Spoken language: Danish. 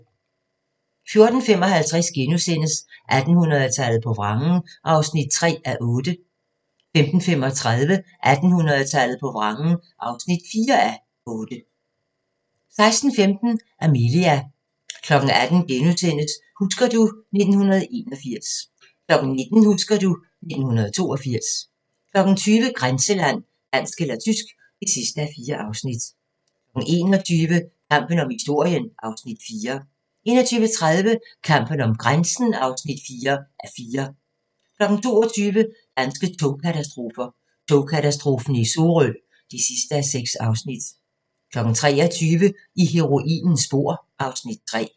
14:55: 1800-tallet på vrangen (3:8)* 15:35: 1800-tallet på vrangen (4:8) 16:15: Amelia 18:00: Husker du ... 1981 * 19:00: Husker du ... 1982 20:00: Grænseland – Dansk eller tysk (4:4) 21:00: Kampen om historien (Afs. 4) 21:30: Kampen om grænsen (4:4) 22:00: Danske katastrofer – Togkatastrofen i Sorø (6:6) 23:00: I heroinens spor (Afs. 3)